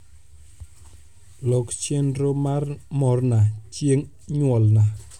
lok chenro mar morna chieng nyuolna